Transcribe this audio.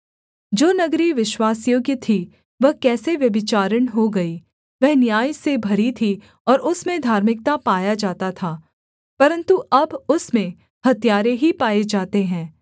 जो नगरी विश्वासयोग्य थी वह कैसे व्यभिचारिणी हो गई वह न्याय से भरी थी और उसमें धार्मिकता पाया जाता था परन्तु अब उसमें हत्यारे ही पाए जाते हैं